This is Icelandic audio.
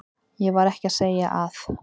Ég var ekki að segja að.